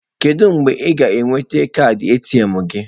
Kedu mgbe ị ga-enweta kaadị ATM gị?